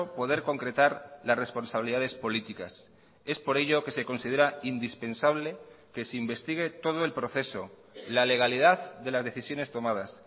poder concretar las responsabilidades políticas es por ello que se considera indispensable que se investigue todo el proceso la legalidad de las decisiones tomadas